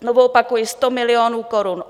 Znovu opakuji, 100 milionů korun.